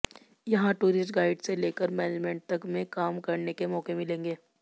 यहां tourist guide से लेकर मैनेजमेंट तक में काम करने के मौके मिलेंगे